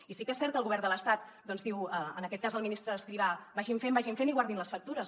i sí que és cert que el govern de l’estat doncs diu en aquest cas el ministre escrivà vagin fent vagin fent i guardin les factures